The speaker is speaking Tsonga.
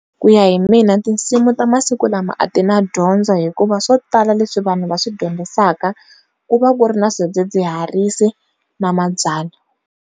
Ku ya hi mina tinsimu ta masiku lama a ti na dyondzo hikuva swo tala leswi vanhu va swi dyondzisaka ku va ku ri na swidzidziharisi na mabyalwa.